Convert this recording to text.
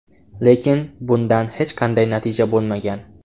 Lekin bundan hech qanday natija bo‘lmagan.